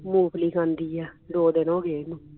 ਮੂੰਗਫਲੀ ਖਾਂਦੀ ਆ ਦੋ ਦਿਨ ਹੋ ਗਏ ਇਹਨੂੰ